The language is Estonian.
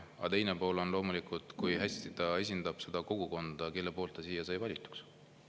Aga teine pool on loomulikult see, kui hästi ta esindab seda kogukonda, kelle poolt ta siia sai valitud.